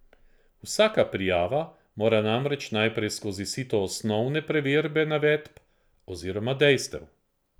Vsaka prijava mora namreč najprej skozi sito osnovne preverbe navedb oziroma dejstev.